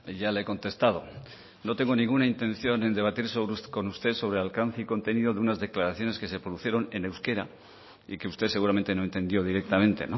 ya le he contestado no tengo ninguna intención en debatir con usted sobre alcance y contenido de unas declaraciones que se produjeron en euskera y que usted seguramente no entendió directamente